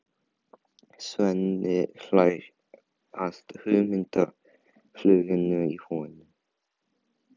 Svenni hlær að hugmyndafluginu í honum.